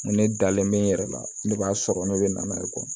N ko ne dalen be n yɛrɛ la ne b'a sɔrɔ ne bɛ n'a ye